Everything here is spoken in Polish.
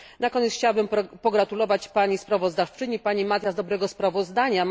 Na koniec chciałabym pogratulować pani sprawozdawczyni Matias dobrego sprawozdania.